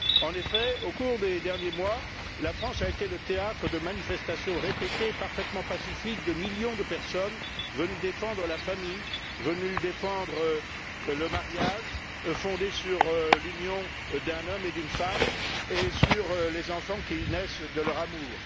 En effet, au cours des derniers mois, la France a été le théâtre de manifestations répétées et parfaitement pacifiques de millions de personnes venues défendre la famille, venues défendre le mariage fondé sur l'union d'un homme et d'une femme et sur les enfants qui naissent de leur amour.